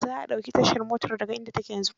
Za a ɗauke tashar motar da ga inda ta ke yanzu.